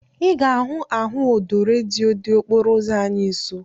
Ị ga-ahụ ahụ ọdọ redio dị okporo ụzọ anyị nsọ